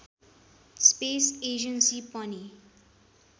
space agency पनि